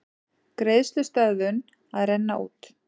Greiðslustöðvun að renna út